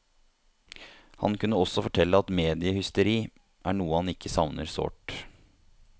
Han kunne også fortelle at mediehysteri er noe han ikke savner sårt.